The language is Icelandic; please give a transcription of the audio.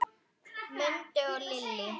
Mundi og Lillý.